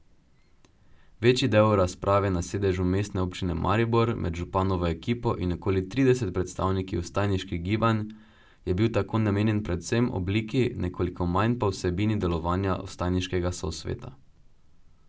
Večji del razprave na sedežu Mestne občine Maribor med županovo ekipo in okoli trideset predstavniki vstajniških gibanj je bil tako namenjen predvsem obliki, nekoliko manj pa vsebini delovanja vstajniškega sosveta.